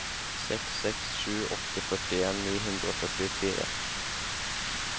seks seks sju åtte førtien ni hundre og førtifire